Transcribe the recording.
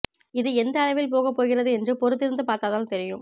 இது எந்த அளவில் போகப் போகிறது என்று பொறுத்திருந்து பார்த்தால்தான் தெரியும்